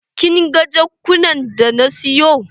Kin ga jakunan da na siyo?